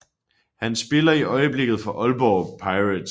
Han spiller i øjeblikket for Aalborg Pirates